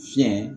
Fiɲɛ